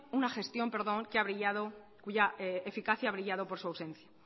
una gestión cuya eficacia ha brillado por su ausencia